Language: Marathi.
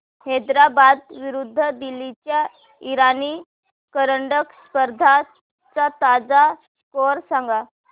हैदराबाद विरुद्ध दिल्ली च्या इराणी करंडक स्पर्धेचा ताजा स्कोअर सांगा